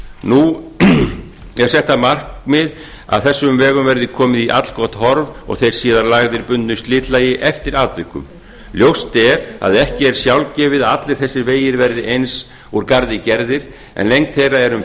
nú er þetta markmið að þessum vegum verði komið í allgott horf og þeir síðan lagðir bundnu slitlagi eftir atvikum ljóst er að ekki er sjálfgefið að allir þessir vegir verði eins úr garði gerðir en engu þeirra er um